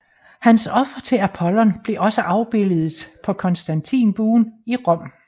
Hans offer til Apollon blev også afbildet på Konstantinbuen i Rom